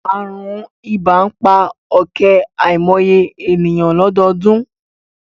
Àrùn ibà ń pa ọ̀kẹ́ àìmọye ènìyàn lọ́dọọdún